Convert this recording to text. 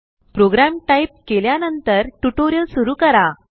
programme type केल्यानंतर tutorial सुरु करा